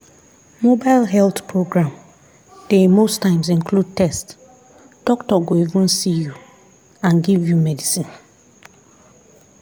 mobile health program dey most times include test doctor go even see you and give you medicine.